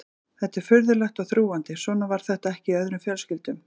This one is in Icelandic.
Þetta var furðulegt og þrúgandi, svona var þetta ekki í öðrum fjölskyldum.